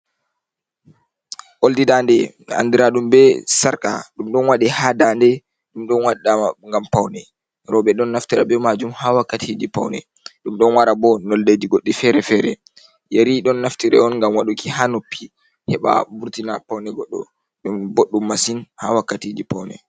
Oldi dande andira ɗum be sarka. Ɗum ɗon wade ha dande. Ɗum ɗon waɗa gam paune. Roɓe ɗon naftire be majum ha wakkati ji paune. Ɗum ɗon wara be nondeji goɗɗi fere-fere. Yeri ɗon naftire on ngam waɗuki ha noppi, heɓa vurtina paune goɗɗo. Ɗum boddum masin ha wakkatiji paune.